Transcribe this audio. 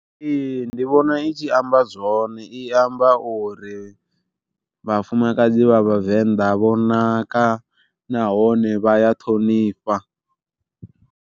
Ee ndi vhona i tshi amba zwone i amba uri vhafumakadzi vha vhavenḓa vho naka nahone vha ya ṱhonifha.